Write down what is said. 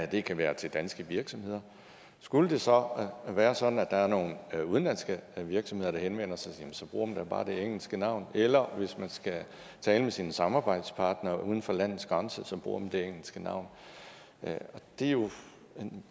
det kan være til danske virksomheder skulle det så være sådan at der er nogen udenlandske virksomheder der henvender sig jamen så bruger man da bare det engelske navn eller hvis man skal tale med sine samarbejdspartnere uden for landets grænser bruger man det engelske navn det er jo en